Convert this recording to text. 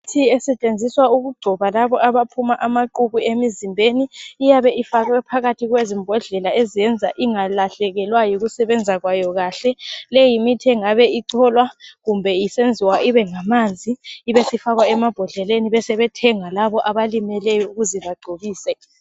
Imithi esetshenziswa ukugcoba labo abaphuma amaqhubu emizimbeni, iyabe ifakwe phakathi kwezimbodlela eziyenza ingalahlekelwa yikusebenza kwayo kahle. Le yimithi engabe icholwa kumbe isenziwa ibe ngamanzi ibe sifakwa emambodleleni besebethenga labo abalimeleyo ukuze bagcobise